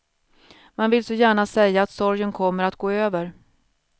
Man vill så gärna säga att sorgen kommer att gå över.